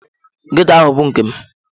Ghetto ahụ bụ nke m.